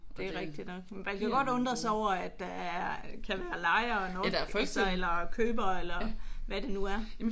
Det er rigtigt nok. Man kan godt undre sig over at der er kan være lejere og nogen lystsejlere og købere eller hvad det nu er